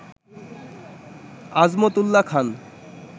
Azmat Ullah Khan